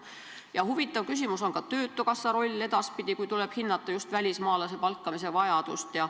Ja huvitav küsimus on ka töötukassa roll edaspidi, kui tuleb hinnata just välismaalase palkamise vajadust.